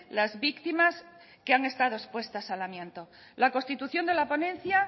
las víctimas que han estado expuestas al amianto la constitución de la ponencia